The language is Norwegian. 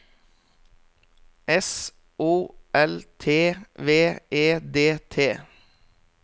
S O L T V E D T